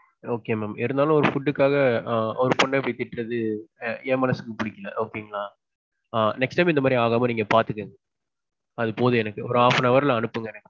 okay mam இருந்தாலும் food க்காக ஒரு பொண்ண இப்பிடி திட்றது ~ என் மனசுக்கு பிடிக்கல okay ங்களா. ஆ next time இந்த மாதிரி ஆகாம நீங்க பாத்துக்கங்க. அது போதும் எனக்கு. ஒரு half an hour ல அனுப்புங்க எனக்கு.